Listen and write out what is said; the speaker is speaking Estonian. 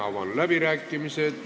Avan läbirääkimised.